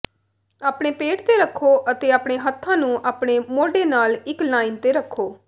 ਆਪਣੇ ਪੇਟ ਤੇ ਰੱਖੋ ਅਤੇ ਆਪਣੇ ਹੱਥਾਂ ਨੂੰ ਆਪਣੇ ਮੋਢੇ ਨਾਲ ਇੱਕ ਲਾਈਨ ਤੇ ਰੱਖੋ